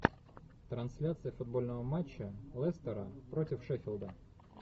трансляция футбольного матча лестера против шеффилда